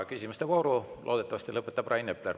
Küsimuste vooru loodetavasti lõpetab Rain Epler.